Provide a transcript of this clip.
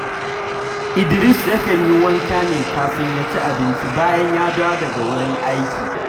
Idris yakan yi wanka ne kafin ya ci abinci bayan ya dawo daga wurin aiki